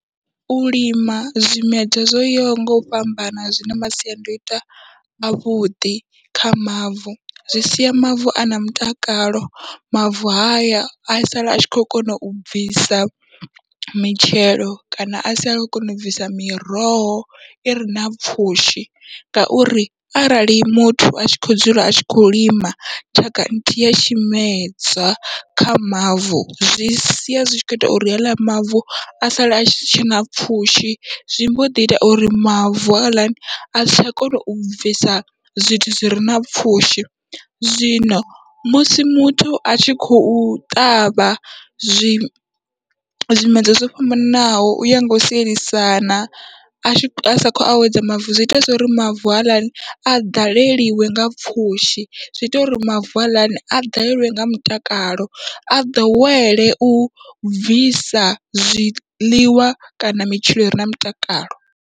U lima zwimedzwa zwo yaho ngau fhambana zwina masiandaitwa avhuḓi kha mavu, zwi sia mavu ana mutakalo mavu haya a sala atshi khou kona u bvisa mitshelo kana asi a kho kona u bvisa miroho ire na pfhushi, ngauri arali muthu atshi kho dzula atshi kho lima tshaka nthihi ya tshimedzwa kha mavu zwi sia zwi tshi kho ita uri haḽa mavu a sala atshi tshena pfhushi, zwi mboḓi ita uri mavu haḽani asi tsha kona u bvisa zwithu zwire na pfhushi. Zwino musi muthu atshi khou ṱavha zwi zwimedzwa zwo fhambananaho uya ngau sielisana asa khou awedza mavu, zwi ita zwori mavu haaḽani a ḓaleliwe nga pfhushi zwiita uri mavu haaḽani a ḓaleliwe nga mutakalo a ḓowele u bvisa zwiḽiwa kana mitshelo ire na mutakalo.